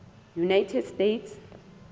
united states